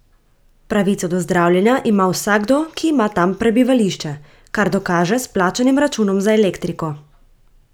Pravico do zdravljenja ima vsakdo, ki ima tam prebivališče, kar dokaže s plačanim računom za elektriko.